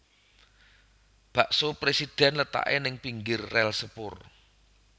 Bakso Presiden letake ning pinggir rel sepur